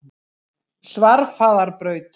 Svarfaðarbraut